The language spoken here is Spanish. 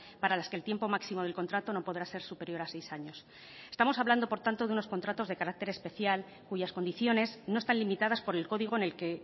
para las que el tiempo máximo del contrato no podrá ser superior a seis años estamos hablando por tanto de unos contratos de carácter especial cuyas condiciones no están limitadas por el código en el que